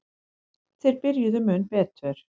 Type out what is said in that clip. Þeir byrjuðu mun betur.